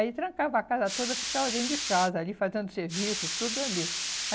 Aí trancava a casa toda, ficava dentro de casa ali, fazendo serviço e tudo ali.